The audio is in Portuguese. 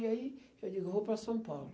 E aí, eu digo, vou para São Paulo.